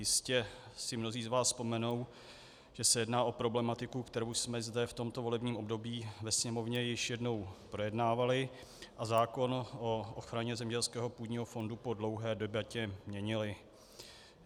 Jistě si mnozí z vás vzpomenou, že se jedná o problematiku, kterou jsme zde v tomto volebním období ve Sněmovně již jednou projednávali, a zákon o ochraně zemědělského půdního fondu po dlouhé debatě měnili.